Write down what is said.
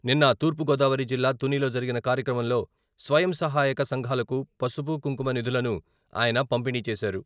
నిన్న తూర్పుగోదావరి జిల్లా తునిలో జరిగిన కార్యక్రమంలో స్వయం సహాయక సంఘాలకు పసుపు, కుంకుమ నిధులను ఆయన పంపిణీ చేశారు.